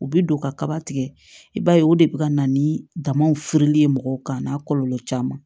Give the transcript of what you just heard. U bi don kaba tigɛ i b'a ye o de bi ka na ni damaw fere ye mɔgɔw kan a n'a kɔlɔlɔ caman